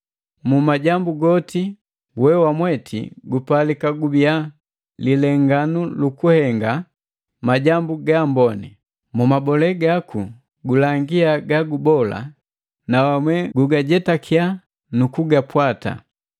Mu majambu goti we wamweti gupalika gubiya lilenganu lukuhenga majambu ga amboni. Mu mabole gaku gulangia gagubola na wamwe gugajetakiya nu kugapwata.